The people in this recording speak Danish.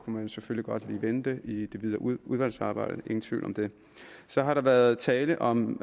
man selvfølgelig godt lige vende det i det videre udvalgsarbejde ingen tvivl om det så har der været tale om